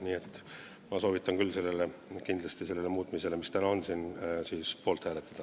Nii et ma soovitan küll kindlasti selle muutmise otsuse, mis siin täna meie ees on, poolt hääletada.